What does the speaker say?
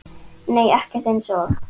Nei ekkert eins og